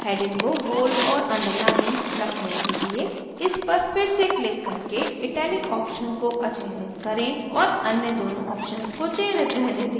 heading को bold और underlined रखने के लिए इस पर फिर से क्लिक करके italic option को अचयनित करें और अन्य दोनों options को चयनित रहने दें